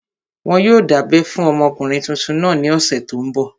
Wọn yóò dábẹ́ fún ọmọkùnrin tuntun náà ní ọ̀sẹ̀ tó n bọ̀